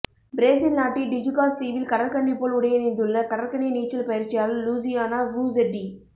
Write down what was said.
Brazil நாட்டின் Tijucas தீவில் கடற்கன்னி போல் உடையணிந்துள்ள கடற்கன்னி நீச்சல் பயிற்சியாளர் லூசியானா ஃபுஸெட்டி